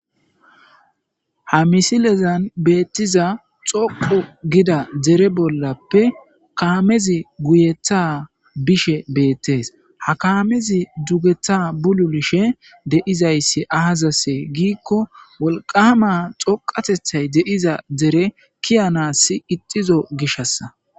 Ha missilezan bettiza xooqqu giida deere bollappe kaamezi guyyetha bishshe bettes ha kaamezi duugeththa bullulishe deiizayssi azzase giikko wolqqama xooqqatethay deiiza deere kii'anasi iixxizo giishassa.